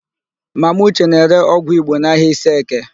Mama ụche na-ere ọgwụ Igbo n'ahịa Iseeke.